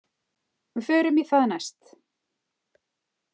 Við förum í það næst.